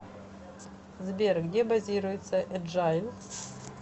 сбер где базируется эджайл